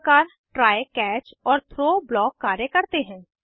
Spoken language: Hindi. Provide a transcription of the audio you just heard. इस प्रकार ट्राय कैच और थ्रो ब्लॉक कार्य करते हैं